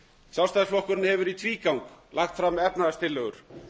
sjálfstæðisflokkurinn hefur í tvígang lagt fram efnahagstillögur